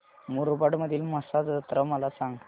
मुरबाड मधील म्हसा जत्रा मला सांग